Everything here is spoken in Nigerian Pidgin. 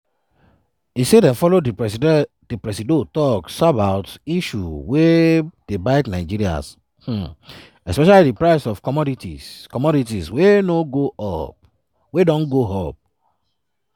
e say dem follow di presido tok sabout issues wey dey bite nigerians um especially di price of commodities commodities wey don go up.